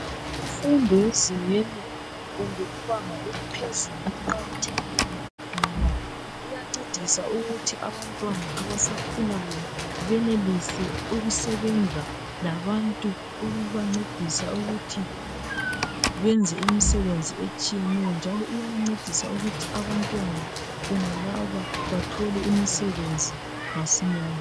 Imfundo ezingeni kumbe ibanga eliphezulu iqakathekile ngoba iyancedisa ukuthi abantwana abasakhulayo benelise ukusebenza labantu ukubancedisa ukuthi benze imisebenzi etshiyeneyo njalo iyancedisa ukuthi abantwana bonalaba bathole imisebenzi masinyane